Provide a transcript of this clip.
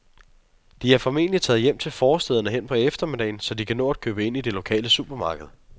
De er formentlig taget hjem til forstæderne hen på eftermiddagen, så de kan nå at købe ind i det lokale supermarked.